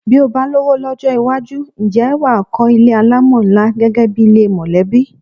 Bí o bá lówó ló̩wó̩ ló̩jó̩ iwájú, ǹjé̩ wà á kó̩ ilé alámò̩ ńlá gé̩gé̩ bi ilé mò̩lé̩bí?